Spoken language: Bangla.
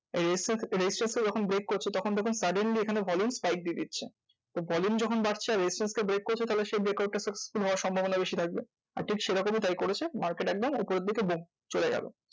এই resistance resistance কে যখন break করছে তখন দেখুন suddenly এখানে volume spike দিয়ে দিচ্ছে। volume যখন বাড়ছে resistance কে break করছে তাহলে সেই break out successful হওয়ার সম্ভবনা বেশি থাকবে। আর ঠিক সেরকমই তাই করেছে market একদম উপরের দিকে চলে গেলো।